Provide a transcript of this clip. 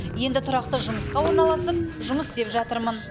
енді тұрақты жұмысқа орналасып жұмыс істеп жатырмын